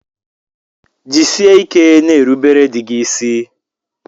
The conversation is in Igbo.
Jisike n'erubere dị gị ịsị.